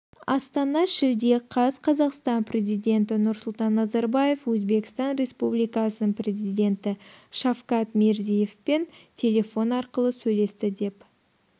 астана шілде қаз қазақстан президенті нұрсұлтан назарбаев өзбекстан республикасының президенті шавкат мирзиевпен телефон арқылы сөйлесті деп